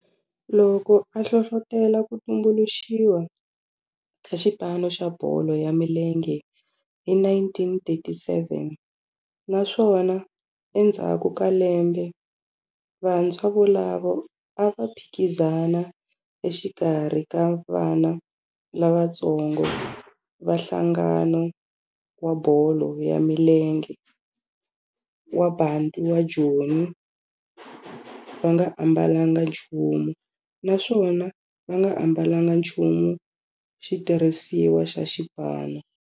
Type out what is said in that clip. Loko a hlohlotela ku tumbuluxiwa ka xipano xa bolo ya milenge hi 1937 naswona endzhaku ka lembe vantshwa volavo a va phikizana exikarhi ka vana lavatsongo va nhlangano wa bolo ya milenge wa Bantu wa Joni va nga ambalanga nchumu naswona va nga ambalanga nchumu xitirhisiwa xa xipano.